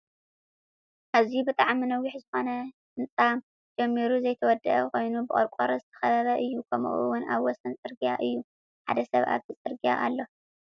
ኣዝዩ ብጣዕሚ ነዊሕ ዝኮነ ህንፃ ተጀሚሩ ዘይተወደአ ኮይኑ ብቆርቆሮ ዝተከበበ እዩ። ከምኡ እውን ኣበ ወሰን ፅርግያ እዩ። ሓደ ሰብ ኣብቲ ፅርግያ ኣሎ።